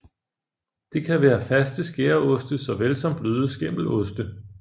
Det kan være faste skæreoste såvel som bløde skimmeloste